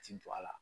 Ti don a la